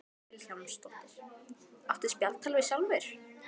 Hödd Vilhjálmsdóttir: Áttu spjaldtölvu sjálfur?